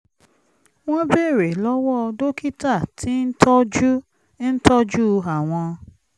wọ́n béèrè lọ́wọ́ dókítà tí ń tọ́jú ń tọ́jú àwọn